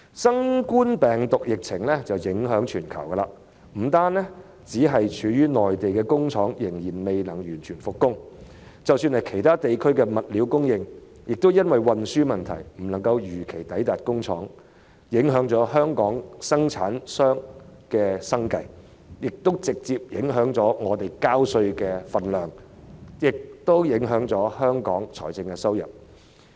新冠病毒疫情影響全球，不單內地的工廠仍未能完全復工，即使是其他地區的物料供應，亦因運輸問題而未能如期抵達工廠，影響香港生產商的生計，亦直接影響市民繳稅的金額，以及香港的財政收入。